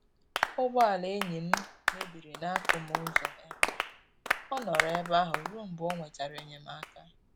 Ụgbọ ala enyi m mebiri n'akụmụ ụzọ ebe a, ọ nọrọ ebe ahụ ruo mgbe o nwetara enyemaka